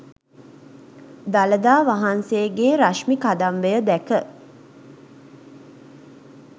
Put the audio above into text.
දළදා වහන්සේගේ රශ්මි කදම්බය දැක